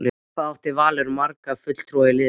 Hvað átti Valur marga fulltrúa í liðinu?